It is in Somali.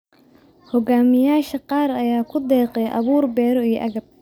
Hogaamiyayaasha qaar ayaa ku deeqay abuur beero iyo agab.